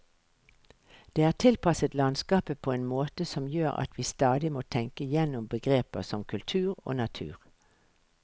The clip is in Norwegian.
Det er tilpasset landskapet på en måte som gjør at vi stadig må tenke gjennom begreper som kultur og natur.